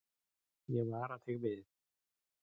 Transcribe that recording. Ég vara þig við.